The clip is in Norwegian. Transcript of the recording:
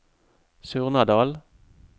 Surnadal